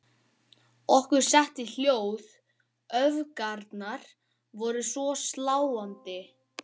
Okkur setti hljóð, öfgarnar voru svo sláandi.